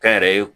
Kɛnyɛrɛye